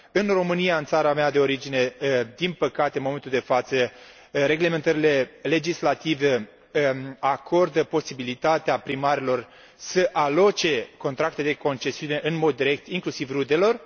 În România, în țara mea de origine, din păcate, în momentul de față, reglementările legislative acordă posibilitatea primarilor să aloce contracte de concesiune în mod direct, inclusiv rudelor.